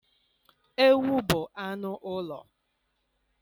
Ewu bụ anụ ụlọ